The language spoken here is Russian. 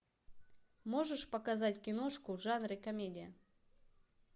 можешь показать киношку в жанре комедия